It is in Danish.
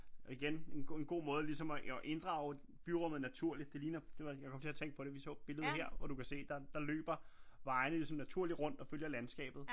Og igen en god måde ligesom og inddrage byrummet naturligt det ligner det var jeg kom til at tænke på det vi så billedet her og du kan se der løber vejene ligesom naturligt rundt og følger landskabet